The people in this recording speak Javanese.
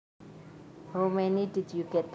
How many did you get